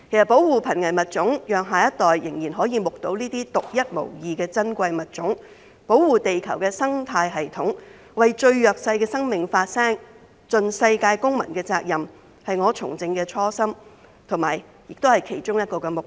保護瀕危物種，讓下一代可以繼續目睹這些獨一無二的珍貴物種、保護地球的生態系統、為最弱勢的生命發聲、盡世界公民的責任，是我從政的初心，也是其中一項目標。